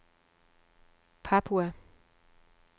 Papua